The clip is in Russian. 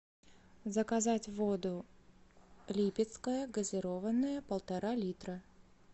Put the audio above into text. заказать воду липецкая газированная полтора литра